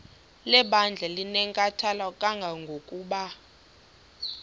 lebandla linenkathalo kangangokuba